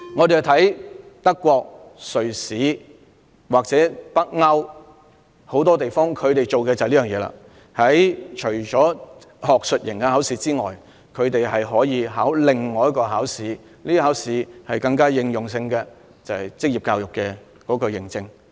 德國、瑞士和北歐很多地方都有這樣做，除了學術型考試外，學生還可以參加另一個應用能力考試，取得職業教育認證。